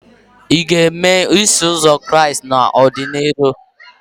Ị ga-eme Iso Ụzọ Kraịst n'ọdịnihu?